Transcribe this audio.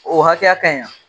O hakɛya ka ɲi wa